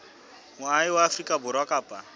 moahi wa afrika borwa kapa